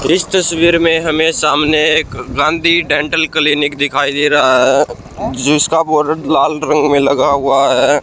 इस तस्वीर में हमें सामने एक गांधी डेंटल क्लिनिक दिखाई दे रहा है जिसका बोर्ड लाल रंग में लगा हुआ है।